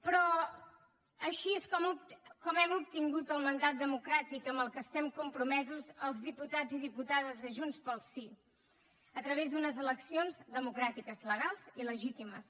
però així és com hem obtingut el mandat democràtic amb el qual estem compromesos els diputats i diputades de junts pel sí a través d’unes eleccions democràtiques legals i legítimes